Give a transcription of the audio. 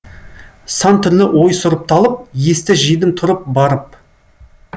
сан түрлі ой сұрыпталып есті жидым тұрып барып